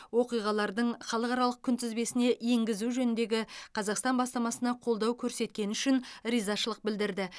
оқиғалардың халықаралық күнтізбесіне енгізу жөніндегі қазақстан бастамасына қолдау көрсеткені үшін ризашылық білдірді